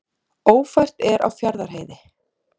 Ófært er á Fjarðarheiði